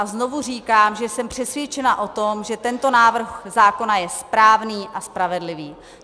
A znovu říkám, že jsem přesvědčena o tom, že tento návrh zákona je správný a spravedlivý.